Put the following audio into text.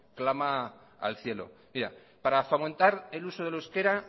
clama al cielo para fomentar el uso del euskera